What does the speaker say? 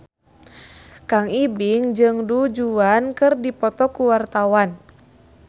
Kang Ibing jeung Du Juan keur dipoto ku wartawan